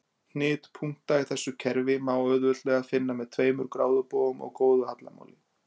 Hnit punkta í þessu kerfi má auðveldlega finna með tveimur gráðubogum og góðu hallamáli.